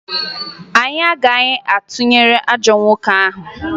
Anyị agaghị atụnyere ajọ nwoke ahụ